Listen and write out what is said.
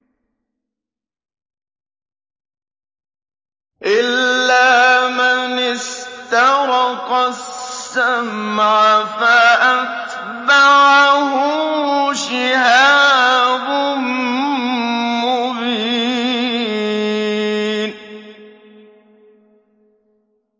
إِلَّا مَنِ اسْتَرَقَ السَّمْعَ فَأَتْبَعَهُ شِهَابٌ مُّبِينٌ